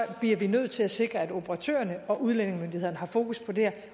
bliver vi nødt til at sikre at operatørerne og udlændingemyndighederne har fokus på det her